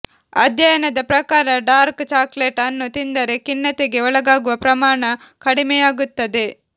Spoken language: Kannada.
ಅಧ್ಯಯನದ ಪ್ರಕಾರ ಡಾರ್ಕ್ ಚಾಕ್ಲೇಟ್ ಅನ್ನು ತಿಂದರೆ ಖಿನ್ನತೆಗೆ ಒಳಗಾಗುವ ಪ್ರಮಾಣ ಕಡಿಮೆಯಾಗುತ್ತದೆ